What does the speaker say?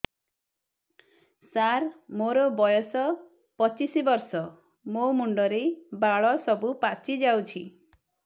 ସାର ମୋର ବୟସ ପଚିଶି ବର୍ଷ ମୋ ମୁଣ୍ଡରେ ବାଳ ସବୁ ପାଚି ଯାଉଛି